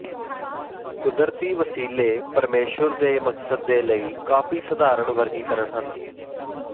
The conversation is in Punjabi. ਕੁਦਰਤੀ ਵਸੀਲੇ ਪਰਮੇਸ਼ੁਰ ਦੇ ਮਕਸਦ ਦੇ ਲਈ ਕਾਫ਼ੀ ਸਧਾਰਨ ਵਰਗੀਕਰਨ ਹਨ